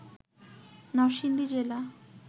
নরসিংদী জেলা